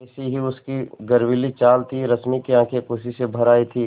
वैसी ही उसकी गर्वीली चाल थी रश्मि की आँखें खुशी से भर आई थीं